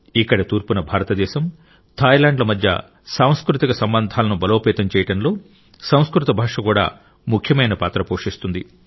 ఇక్కడ తూర్పున భారతదేశం థాయ్లాండ్ ల మధ్య సాంస్కృతిక సంబంధాలను బలోపేతం చేయడంలో సంస్కృత భాష కూడా ముఖ్యమైన పాత్ర పోషిస్తుంది